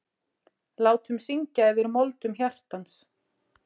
Látum syngja yfir moldum hjartans.